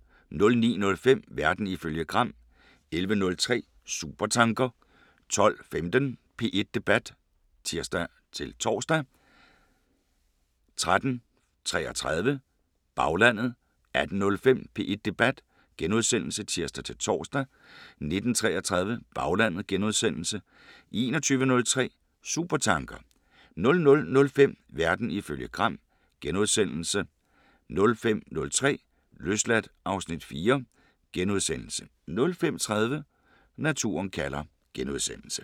09:05: Verden ifølge Gram 11:03: Supertanker 12:15: P1 Debat (tir-tor) 13:33: Baglandet 18:05: P1 Debat *(tir-tor) 19:33: Baglandet * 21:03: Supertanker 00:05: Verden ifølge Gram * 05:03: Løsladt (Afs. 4)* 05:30: Naturen kalder *